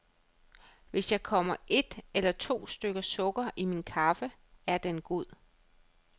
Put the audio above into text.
Hvis jeg kommer et eller to stykker sukker i min kaffe, er den god.